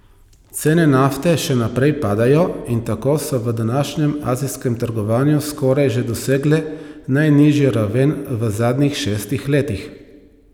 Cene nafte še naprej padajo in tako so v današnjem azijskem trgovanju skoraj že dosegle najnižjo raven v zadnjih šestih letih.